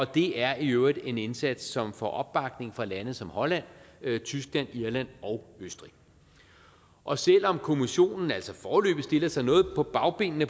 det er i øvrigt en indsats som får opbakning fra lande som holland tyskland irland og østrig og selv om kommissionen altså foreløbig stiller sig noget på bagbenene